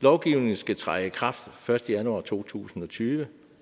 lovgivningen skal træde i kraft første januar to tusind og tyve